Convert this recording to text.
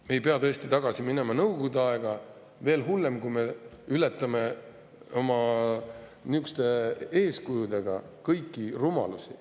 Me tõesti ei pea tagasi minema Nõukogude aega või veel hullem, kui me ületame oma niisuguste eeskujudega kõiki rumalusi.